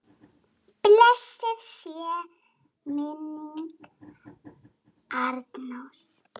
Blessuð sé minning Arnórs.